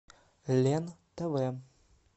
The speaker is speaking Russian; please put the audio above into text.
лен тв